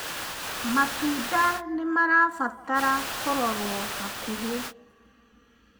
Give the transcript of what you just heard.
matunda nĩmarabatara kurorwo hakuhi